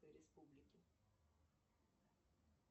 республики